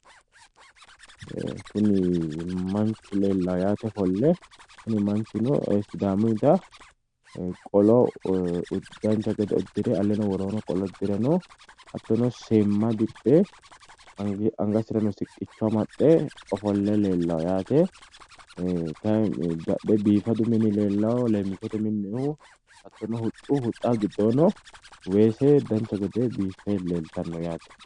Kunni Manchu leellao yaate ofolle kunni manchuno sidaamuyitta qollo dancha gede udire alleno woroono qollo udireno hattono seemma diphe angasirano siqicho amaxe ofolle leellao yaate kayi badhee biifadu minni leellao leemichote minoonnihu hattono huxxu huxxaho giddoonni weese dancha gede biife leeltano yaate.